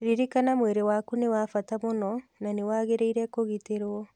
Ririkana mwĩrĩ waku nĩ wa bata mũno na nĩ wagĩrĩire kũgitĩrũo.